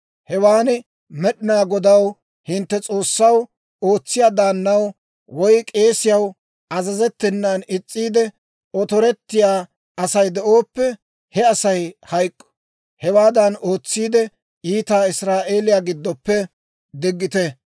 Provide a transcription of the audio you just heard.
Hewaan Med'inaa Godaw, hintte S'oossaw, ootsiyaa daannaw, woy k'eesiyaw azazettenan is's'iide, otorettiyaa Asay de'ooppe, he Asay hayk'k'o; hewaadan ootsiide, iitaa Israa'eeliyaa giddoppe diggite.